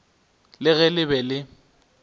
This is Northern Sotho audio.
le ge le be le